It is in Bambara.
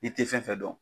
I tɛ fɛn fɛn dɔn